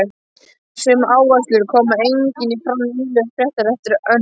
Sömu áherslur koma einnig fram í nýlegu fræðiriti eftir Önnu